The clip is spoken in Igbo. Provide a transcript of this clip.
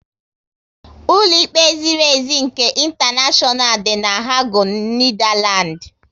Ụlọ ikpe ziri ezi nke intaneshonal dị na Hague, Netherlands